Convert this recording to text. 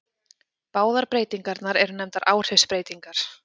Báðar breytingarnar eru nefndar áhrifsbreytingar.